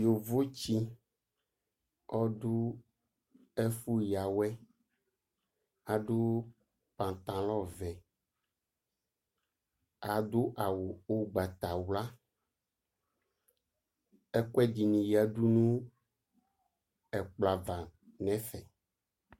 Yovotsɩ ɔdʋ ɛfʋ yǝwɛ Adʋ paŋtalɔŋ vɛ ,adʋ awʋ ʋgbatawla Ɛkʋɛdɩnɩ yǝdu nʋ ɛkplɔ ava n'ɛfɛ